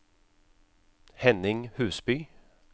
Henning Husby